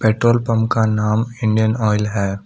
Petrol pump का नाम Indian oil है।